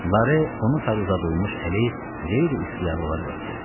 Lare onu sarı uzadılmış əli qeyri-ixtiyari olaraq öpdü.